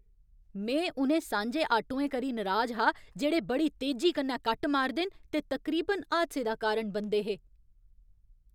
में उ'नें सांझे आटोएं करी नराज हा जेह्ड़े बड़ी तेजी कन्नै कट्ट मारदे न ते तकरीबन हादसे दा कारण बनदे हे।